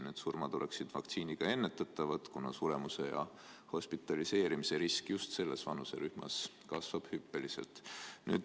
Need surmad oleksid vaktsiiniga ärahoitavad, aga suremus ja hospitaliseerimise risk just selles vanuserühmas kasvab hüppeliselt.